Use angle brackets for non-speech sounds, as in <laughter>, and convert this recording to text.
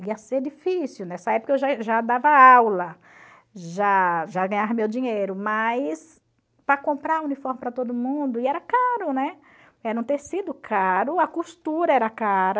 Ia ser difícil, nessa época eu já <unintelligible> já dava aula, já já ganhava meu dinheiro, mas para comprar uniforme para todo mundo, e era caro, né, era um tecido caro, a costura era cara.